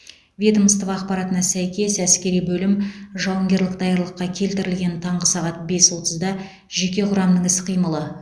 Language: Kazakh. ведомство ақпаратына сәйкес әскери бөлім жауынгерлік даярлыққа келтірілген таңғы сағат бес отызда жеке құрамның іс қимылы